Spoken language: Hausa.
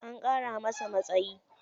An ƙara masa matsayi.